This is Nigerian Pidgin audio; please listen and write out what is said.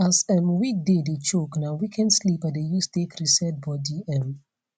as um weekday dey choke na weekend sleep i dey use take reset body um